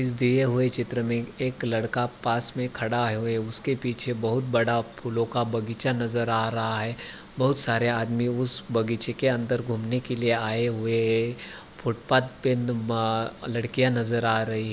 इस दिए हुए चित्र में एक लड़का पास में खड़ा हुए उसके पीछे बहुत बड़ा फूलों का बगीचा नज़र आ रहा है बहुत सारे आदमी उस बगीचे के अन्दर घूमने के लिए आए हुए है फूटपाथ पे आ लड़कियां नज़र आ रही --